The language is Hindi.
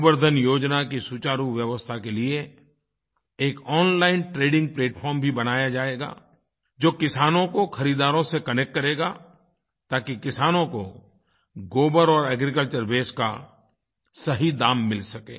गोबर धन योजना के सुचारू व्यवस्था के लिए एक ओनलाइन ट्रेडिंग प्लैटफार्म भी बनाया जाएगा जो किसानों को खरीदारों से कनेक्ट करेगा ताकि किसानों को गोबर और एग्रीकल्चर वास्ते का सही दाम मिल सके